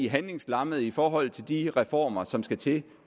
handlingslammet i forhold til de reformer som skal til